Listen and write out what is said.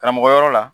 Karamɔgɔ yɔrɔ la